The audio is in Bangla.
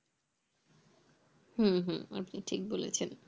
হু হু আপনি ঠিক বলেছেন